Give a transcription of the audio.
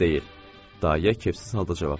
Daya kefsiz halda cavab verdi.